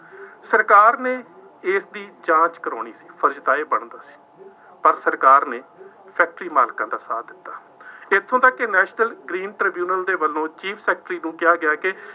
ਸਰਕਾਰ ਨੇ ਇਸਦੀ ਜਾਂਚ ਕਰਾਉਣੀ, ਫਰਜ਼ ਤਾਂ ਇਹ ਬਣਦਾ ਹੈ, ਪਰ ਸਰਕਾਰ ਨੇ ਫੈਕਟਰੀ ਮਾਲਕਾਂ ਦਾ ਸਾਥ ਦਿੱਤਾ। ਇੱਥੋਂ ਤੱਕ ਕਿ ਨੈਸ਼ਨਲ ਗਰੀਨ ਟ੍ਰਿਬਿਊਨਲ ਦੇ ਵੱਲੋਂ ਚੀਫ ਸੈਕਟਰੀ ਨੂੰ ਕਿਹਾ ਗਿਆ ਕਿ